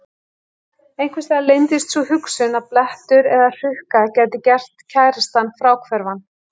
Einhvers staðar leyndist sú hugsun að blettur eða hrukka gæti gert kærastann fráhverfan.